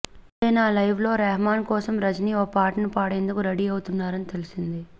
అంతేనా లైవ్లో రెహమాన్ కోసం రజనీ ఓ పాటను పాడేందుకు రెడీ అవుతున్నారని తెలిసింది